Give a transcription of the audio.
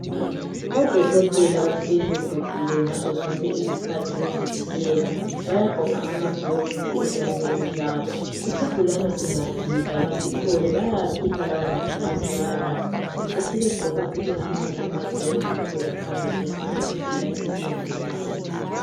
Odokotela bahleli begqokile ngazo zonke izikhathi bezivikela bayagqoka amagilovisi ezandleni zabo isugulani singafika basihlole bayakhipha lawomagloves bawalahle besebegqoka futhi amanye amagloves ukuze bakhangele esinye isigulane esilandelayo.